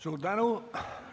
Suur tänu!